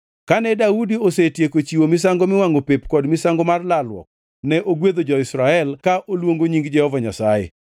Kane Daudi osetieko chiwo misango miwangʼo pep kod misango mar lalruok, ne ogwedho jo-Israel ka oluongo nying Jehova Nyasaye.